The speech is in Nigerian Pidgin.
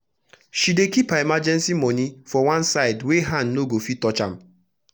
she dey kip her emergency moni for one side wey hand no go fit touch am